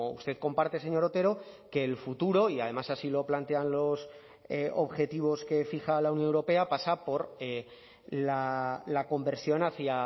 usted comparte señor otero que el futuro y además así lo plantean los objetivos que fija la unión europea pasa por la conversión hacia